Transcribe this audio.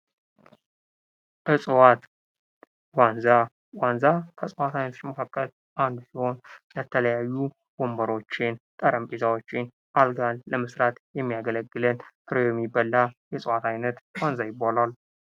እፅዋት ዋንዛ:- ዋንዛ ከእፅዋት አይነቶች መካከል አንዱ ሲሆን ለተለያዩ ወንበሮችን፣ ጠረንጴዛዎችን፣ አልጋን ለመስራት የሚያገለግለን ፍሬው የሚበላ የእፅዋት አይነት ዋንዛ ይባላል።